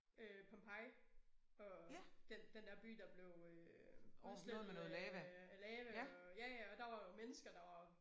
Øh Pompei og den den dér by der blev øh oversvømmet af af lava og ja ja og der var jo mennesker der var